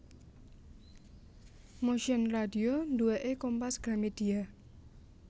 Motion Radio duweke Kompas Gramedia